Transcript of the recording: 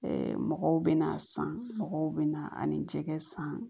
mɔgɔw bɛ na san mɔgɔw bɛna ani jɛgɛ san